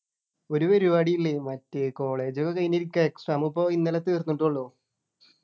ഒരു പരിപാടി ഇല്ലേ മറ്റേ college ഒക്കെ കഴിഞ്ഞിരിക്കാ exam ഇപ്പൊ ഇന്നലെ തീർന്നിട്ടേ ഉള്ളു